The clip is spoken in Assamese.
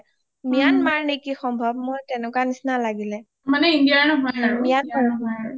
myanmar নেকি সম্ভৱ মোৰ তেনেকুৱা নিচিনা লাগিলে myanmar ৰ হয়